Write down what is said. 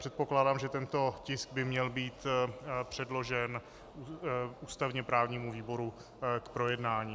Předpokládám, že tento tisk by měl být předložen ústavně právnímu výboru k projednání.